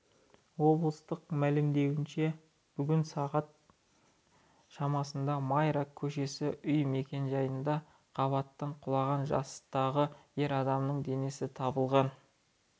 облыстық мәлімдеуінше бүгін сағат шамасында майра көшесі үй мекенжайында қабаттан құлаған жастағы ер адамның денесі табылған